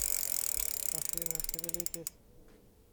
афина шевелитесь